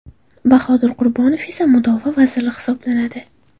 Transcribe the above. Bahodir Qurbonov esa Mudofaa vaziri hisoblanadi.